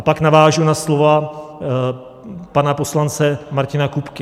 A pak navážu na slova pana poslance Martina Kupky.